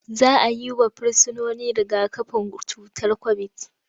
Za a yi wa Firsinoni riga-kafin cutar kobit.